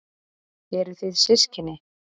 Eruð þið systkini?